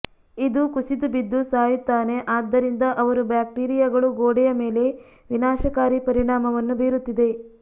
ಇದು ಕುಸಿದು ಬಿದ್ದು ಸಾಯುತ್ತಾನೆ ಆದ್ದರಿಂದ ಅವರು ಬ್ಯಾಕ್ಟೀರಿಯಾಗಳು ಗೋಡೆಯ ಮೇಲೆ ವಿನಾಶಕಾರಿ ಪರಿಣಾಮವನ್ನು ಬೀರುತ್ತಿದೆ